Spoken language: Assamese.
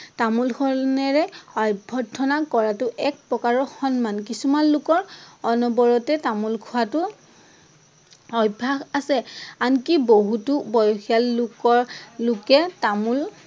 তামোল খনেৰে আভ্যৰ্থনা কৰাটো এক প্ৰকাৰৰ সন্মান। কিছুমান লোকৰ অনবৰতে তামোল খোৱাটো অভ্যাস আছে। আনকি বহুতো বয়সীয়াল লোকৰ লোকে তামোল